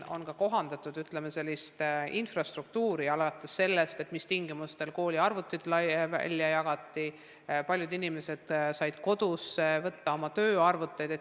On kohandatud infrastruktuuri, alates sellest, mis tingimustel koolide arvutid välja jagati, paljud inimesed said koju võtta oma tööarvuteid.